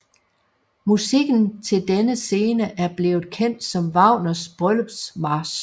Musikken til denne scene er blevet kendt som Wagners bryllupsmarch